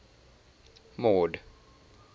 mord